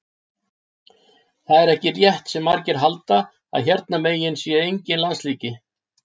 Það er ekki rétt sem margir halda að hérna megin sé enginn lasleiki.